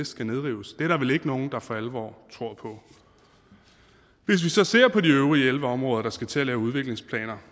skal nedrives det er der vel ikke nogen der for alvor tror på hvis vi så ser på de øvrige elleve områder der skal til at lave udviklingsplaner